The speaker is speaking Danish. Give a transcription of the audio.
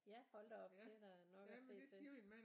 Ja hold da op det er da nok at se til